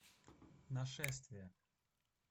нашествие